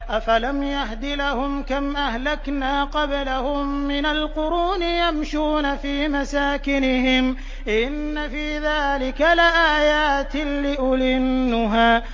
أَفَلَمْ يَهْدِ لَهُمْ كَمْ أَهْلَكْنَا قَبْلَهُم مِّنَ الْقُرُونِ يَمْشُونَ فِي مَسَاكِنِهِمْ ۗ إِنَّ فِي ذَٰلِكَ لَآيَاتٍ لِّأُولِي النُّهَىٰ